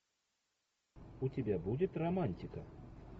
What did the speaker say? у тебя будет романтика